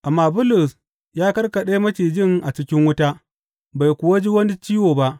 Amma Bulus ya karkaɗe macijin a cikin wuta, bai kuwa ji wani ciwo ba.